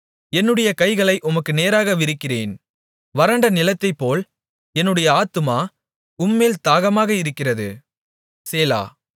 என்னுடைய கைகளை உமக்கு நேராக விரிக்கிறேன் வறண்ட நிலத்தைப்போல் என்னுடைய ஆத்துமா உம்மேல் தாகமாக இருக்கிறது சேலா